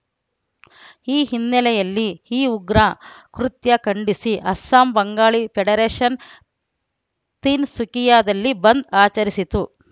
ಈ ಹಿನ್ನೆಲೆಯಲ್ಲಿ ಈ ಉಗ್ರ ಕೃತ್ಯ ಖಂಡಿಸಿ ಅಸ್ಸಾಂ ಬಂಗಾಳಿ ಫೆಡರೇಷನ್‌ ತೀನ್‌ಸುಕಿಯಾದಲ್ಲಿ ಬಂದ್‌ ಆಚರಿಸಿತು